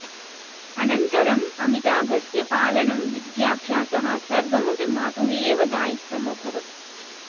अनन्तरम् अमिताभस्य पालनं विद्याभ्यासः सर्वमपि मातुः एव दायित्वमभवत्